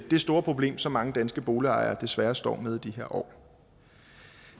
det store problem som mange danske boligejere desværre står med i de her år